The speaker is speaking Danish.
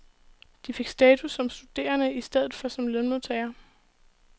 De fik status som studerende i stedet for som lønmodtagere.